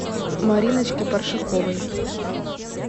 мариночке паршаковой